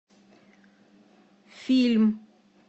фильм